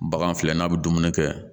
Bagan filɛ n'a bɛ dumuni kɛ